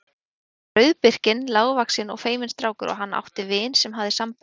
Hann var rauðbirkinn, lágvaxinn og feiminn strákur og hann átti vin sem hafði sambönd.